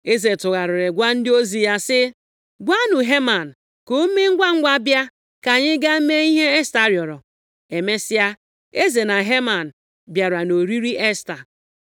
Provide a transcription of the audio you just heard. Eze tụgharịrị gwa ndị ozi ya sị, “Gwanụ Heman ka o mee ngwangwa bịa ka anyị gaa mee ihe Esta rịọrọ.” Emesịa, eze na Heman bịara nʼoriri Esta.